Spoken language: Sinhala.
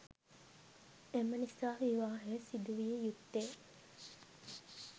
එම නිසා විවාහය සිදුවිය යුත්තේ